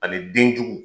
Ani den jugu